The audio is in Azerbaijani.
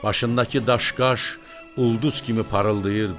Başındakı daşqaş ulduz kimi parıldayırdı.